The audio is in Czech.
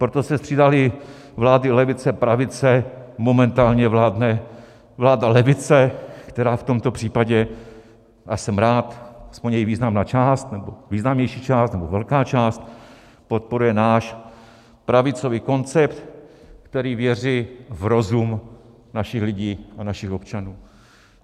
Proto se střídaly vlády levice, pravice, momentálně vládne vláda levice, která v tomto případě, a jsem rád, aspoň její významná část, nebo významnější část, nebo velká část podporuje náš pravicový koncept, který věří v rozum našich lidí a našich občanů.